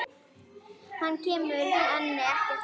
Hann kemur henni ekkert við.